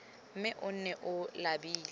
mme o nne o labile